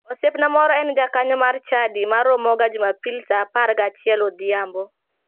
Osiepna moro en jakanyo mar chadi ma romoga jumapil saa apar gi achiel odhiambo.